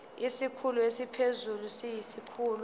isikhulu esiphezulu siyisikhulu